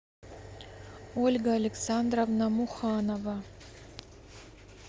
ольга александровна муханова